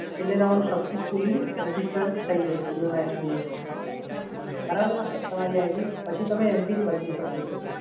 એટલે તમારું successfully register થઈ જશે yonosbi માં, બરાબર છે સર? તમારી આઈડી પછી તમે mpin બદલી શકો છો.